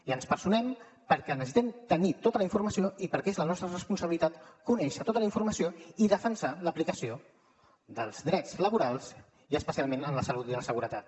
i ens hi personem perquè necessitem tenir tota la informació i perquè és la nostra responsabilitat conèixer tota la informació i defensar l’aplicació dels drets laborals i especialment en la salut i la seguretat